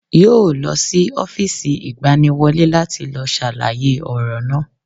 Yóò lọ sí Ófììsì ìgbaniwọlé láti lọ sàlàyé ọ̀rọ̀ náà